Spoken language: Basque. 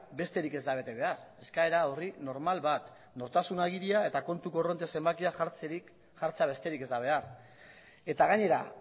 besterik ez da bete behar eskaera orri normal bat nortasun agiria eta kontu korronte zenbakia jartzea besterik ez da behar eta gainera